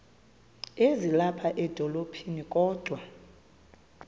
ezilapha edolophini kodwa